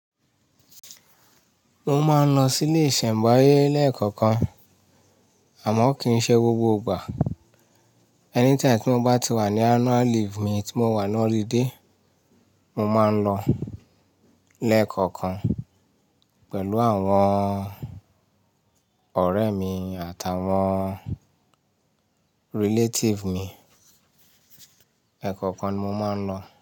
Mo máa ń lọ sílé ìṣẹ̀ǹbáyé lẹ́ẹ̀kọ̀ọ̀kan, àmọ́ kì í ṣe gbogbo ìgbà. Anytime tí mo bá ti wà ní annual leave mi tí mo wà ní holiday, mo máa ń lọ lẹ́ẹ̀kọ̀ọ̀kan pẹ̀lú àwọn ọ̀rẹ́ mi àtàwọn relative mi. Ẹ̀ẹ̀kọ̀ọ̀kan ni mo máa ń lọ.